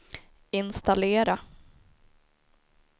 installera